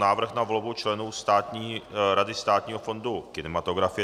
Návrh na volbu členů Rady Státního fondu kinematografie